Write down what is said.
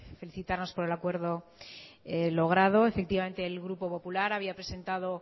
felicitarnos por el acuerdo logrado efectivamente el grupo popular había presentado